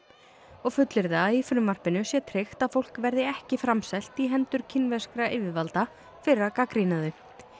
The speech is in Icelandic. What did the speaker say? og fullyrða að í frumvarpinu sé tryggt að fólk verði ekki framselt í hendur kínverskra yfirvalda fyrir að gagnrýna þau